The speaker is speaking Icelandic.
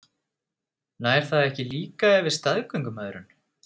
Nær það ekki líka yfir staðgöngumæðrun?